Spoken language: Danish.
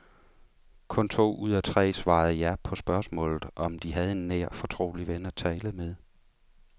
Kun to ud af tre svarede ja på spørgsmålet om de havde en nær, fortrolig ven at tale med.